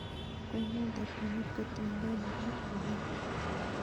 Konan takyinet kotiengei nebo uyan